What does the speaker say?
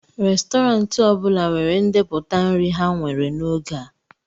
Restọrantị ọ bụla nwere ndepụta nri ha nwere n'oge a